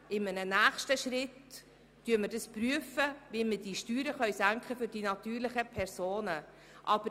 In einem nächsten Schritt prüfen wir, wie man die Steuern für die natürlichen Personen senken kann.